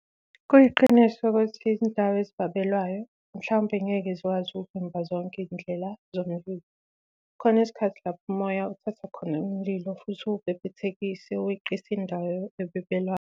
Kuyiqiniso ukuthi izindawo ezibabelwayo mhlawumbe ngeke zikwazi ukuvimba zonke izindlela zomlilo. Kukhona izikhathi lapho umoya uthatha khona umlilo futhi uwubhebhethekise uweqise indawo ebebelwayo.